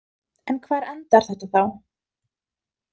En hvar endar þetta þá?